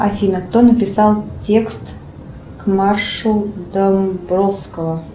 афина кто написал текст к маршу домбровского